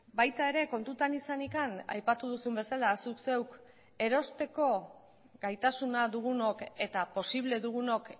baita ere kontutan izanik aipatu duzun bezala zuk zeuk erosteko gaitasuna dugunok eta posible dugunok